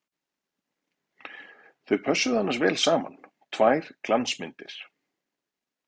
Þau pössuðu annars vel saman, tvær glansmyndir!